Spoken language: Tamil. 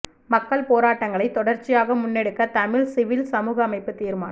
மக்கள் போராட்டங்களை தொடர்ச்சியாக முன்னெடுக்க தமிழ் சிவில் சமூக அமைப்பு தீர்மானம்